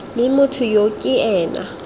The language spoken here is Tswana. mme motho yo ke ena